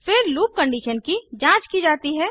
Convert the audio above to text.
फिर loop condition की जांच की जाती है